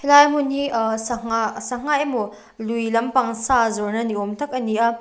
a hmun hi sangha sangha emaw lui lampang sa zawrh na niawm tak ani a.